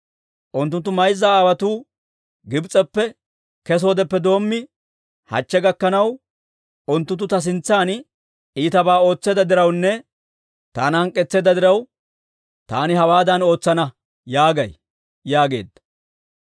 Unttunttu mayza aawotuu Gibs'eppe kesoodeppe doommi, hachche gakkanaw, unttunttu ta sintsan iitabaa ootseedda dirawunne taana hank'k'etseedda diraw, taani hawaadan ootsana› yaagay» yaageedda.